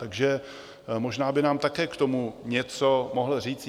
Takže možná by nám také k tomu něco mohl říct.